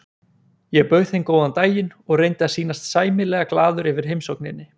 Ég bauð þeim góðan daginn og reyndi að sýnast sæmilega glaður yfir heimsókninni.